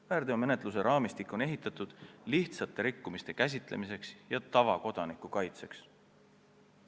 Väärteomenetluse raamistik on loodud lihtsate rikkumiste käsitlemiseks ja tavakodaniku kaitseks.